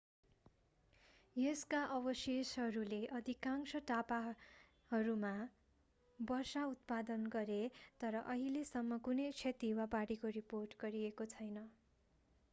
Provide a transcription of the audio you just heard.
यसका अवशेषहरूले अधिकांश टापुहरूमा वर्षा उत्पादन गरे तर अहिलेसम्म कुनै क्षति वा बाढीको रिपोर्ट गरिएको छैन